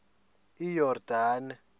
iyordane